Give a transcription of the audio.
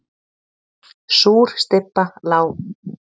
Súr stybba lá í loftinu.